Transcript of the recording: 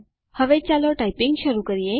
હવે ચાલો ટાઈપીંગ શુરુ કરીએ